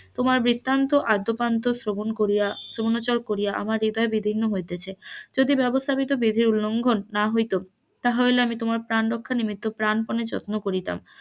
তোমার বৃত্তান্ত আদ্যপান্ত শ্রবণ করিয়া শ্রবনোচর করিয়া আমার হৃদয় বিদির্ণ হইতেছে, যদি ব্যবস্থা নতি বিধিলঙ্ঘন না হইত তাহা হইলে আমি তোমার প্রান রক্ষা নিমিত্ত প্রাণ পণে যত্ন করিতাম,